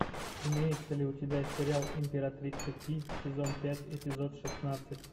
имеется ли у тебя сериал императрица ки сезон пять эпизод шестнадцать